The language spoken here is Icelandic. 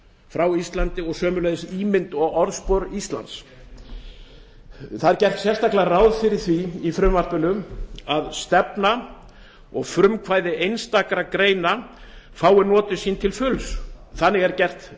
frá íslandi og sömuleiðis ímynd og orðspor íslands sérstaklega er gert ráð fyrir því í frumvarpinu að stefna og frumkvæði einstakra greina fái notið sín til fulls þannig er gert